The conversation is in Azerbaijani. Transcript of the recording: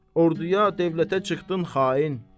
orduya, dövlətə çıxdın xain!